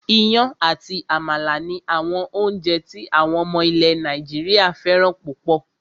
Iyán àti àmàlà ni àwọn oúnjẹ tí àwọn ọmọ ilẹ̀ Nàìjíríà fẹ́ràn púpọ̀